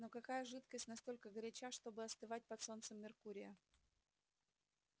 но какая жидкость настолько горяча чтобы остывать под солнцем меркурия